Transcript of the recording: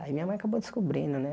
Aí minha mãe acabou descobrindo, né?